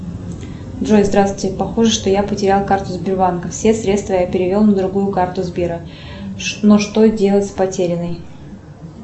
джой здравствуйте похоже что я потерял карту сбербанка все средства я перевел на другую карту сбера но что делать с потерянной